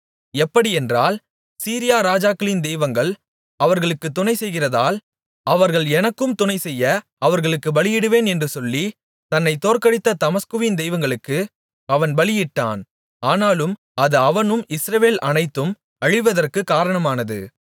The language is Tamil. எப்படியென்றால் சீரியா ராஜாக்களின் தெய்வங்கள் அவர்களுக்குத் துணை செய்கிறதால் அவர்கள் எனக்கும் துணைசெய்ய அவர்களுக்கு பலியிடுவேன் என்று சொல்லி தன்னைத் தோற்கடித்த தமஸ்குவின் தெய்வங்களுக்கு அவன் பலியிட்டான் ஆனாலும் அது அவனும் இஸ்ரவேல் அனைத்தும் அழிவதற்கு காரணமானது